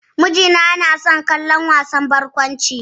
Miji na yana son kallon wasan barkwanci.